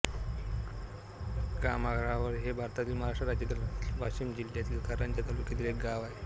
कमारगाव हे भारतातील महाराष्ट्र राज्यातील वाशिम जिल्ह्यातील कारंजा तालुक्यातील एक गाव आहे